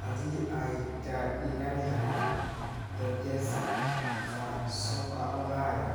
Hadii ay ka dhigan tahay "Tetesi za soka Ulaya